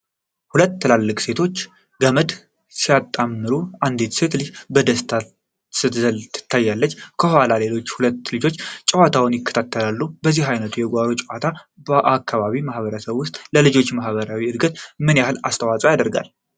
ሁለት ትላልቅ ሴቶች ገመድ ሲያጣምሩ አንዲት ትንሽ ልጅ በደስታ ስትዘል ትታያለች። ከበስተኋላም ሌሎች ሁለት ልጆች ጨዋታውን ይከታተላሉ። የዚህ ዓይነቱ የጓሮ ጨዋታ በአካባቢው ማኅበረሰብ ውስጥ ለልጆች ማኅበራዊ እድገት ምን ያህል አስተዋጽኦ ያደርጋል?